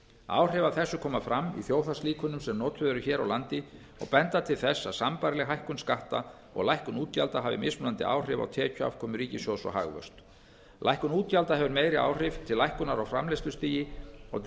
áhrif af þessu koma fram í þjóðhagslíkönum sem notuð eru hér á landi og benda til þess að sambærileg hækkun skatta og lækkun útgjalda hafi mismunandi áhrif á tekjuafkomu ríkissjóðs og hagvöxt lækkun útgjalda hefur meiri áhrif til lækkunar á framleiðslustigi og